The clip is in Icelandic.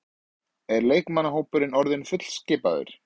Er leikmannahópurinn orðinn fullskipaður?